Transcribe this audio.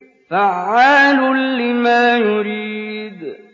فَعَّالٌ لِّمَا يُرِيدُ